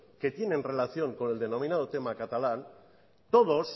que tienen relación con el denominado tema catalán todos